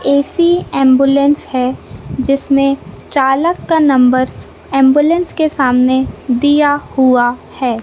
AC ambulance है जिसमें चालक का नम्बर एंबुलेंस के सामने दिया हुआ है।